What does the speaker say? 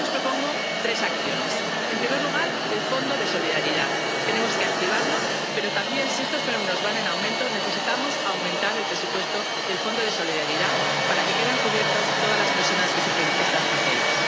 Yo le propongo tres acciones. En primer lugar, el Fondo de Solidaridad. Tenemos que activarlo, pero también, si estos fenómenos van en aumento, necesitamos aumentar el presupuesto del Fondo de Solidaridad para que queden cubiertas todas las personas que sufren estas tragedias.